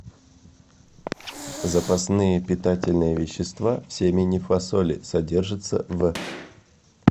запасные питательные вещества в семени фасоли содержится в